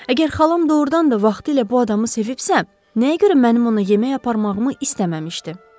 Əgər xalam doğurdan da vaxtilə bu adamı sevibsə, nəyə görə mənim ona yemək aparmağımı istəməmişdi?